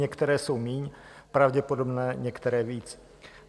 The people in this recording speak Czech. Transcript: Některé jsou míň pravděpodobné, některé víc.